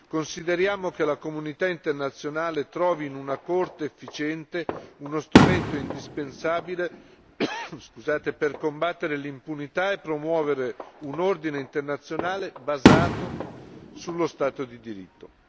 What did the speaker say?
Consideriamo che la comunità internazionale trovi in una Corte efficiente uno strumento indispensabile per combattere l'impunità e promuovere un ordine internazionale basato sullo stato di diritto.